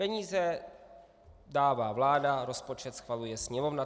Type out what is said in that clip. Peníze dává vláda, rozpočet schvaluje Sněmovna.